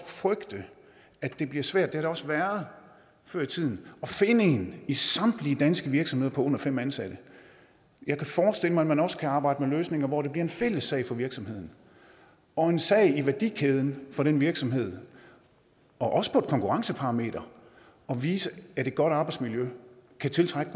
frygte at det bliver svært og det også været før i tiden at finde en i samtlige danske virksomheder på under fem ansatte jeg kan forestille mig at man også kan arbejde med løsninger hvor det bliver en fælles sag for virksomheden og en sag i værdikæden for den virksomhed også på et konkurrenceparameter at vise at et godt arbejdsmiljø kan tiltrække